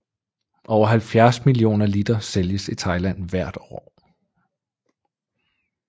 Over 70 millioner liter sælges i Thailand hvert år